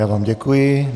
Já vám děkuji.